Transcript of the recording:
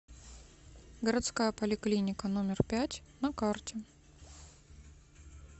городская поликлиника номер пять на карте